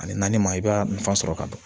Ani naani ma i b'a nafa sɔrɔ ka ban